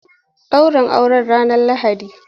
Ɗaurin Aurensa ranar Lahadi.